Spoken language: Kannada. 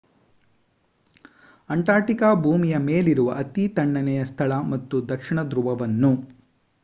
ಅಂಟಾರ್ಟಿಕಾ ಭೂಮಿಯ ಮೇಲಿರುವ ಅತೀ ತಣ್ಣನೆಯ ಸ್ಥಳ ಮತ್ತು ದಕ್ಷಿಣ ದ್ರುವವನ್ನು